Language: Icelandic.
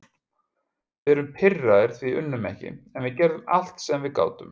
Við erum pirraðir því við unnum ekki, en við gerðum allt sem við gátum.